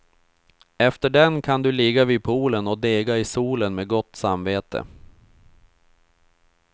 Efter den kan du ligga vid poolen och dega i solen med gott samvete.